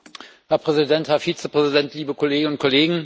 Herr Präsident, Herr Vizepräsident, liebe Kolleginnen und Kollegen!